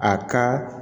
A ka